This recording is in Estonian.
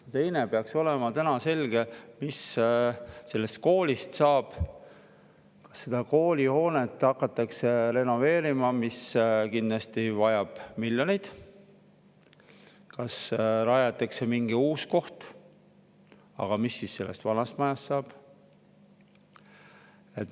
Aga tänaseks peaks olema selge, mis sellest koolist edasi saab: kas kooli hoonet hakatakse renoveerima, mis kindlasti vajab miljoneid, või rajatakse mingi uus koht, aga mis siis sellest vanast majast saab?